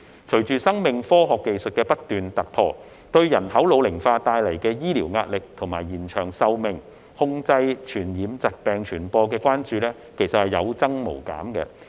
隨着生命科學技術不斷突破，對人口老齡化帶來的醫療壓力，以及延長壽命、控制傳染疾病傳播的關注有增無減。